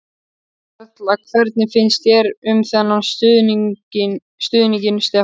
Erla: Hvernig finnst þér um þennan stuðning Stefán?